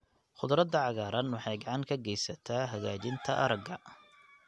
Khudradda cagaaran waxay gacan ka geysataa hagaajinta aragga.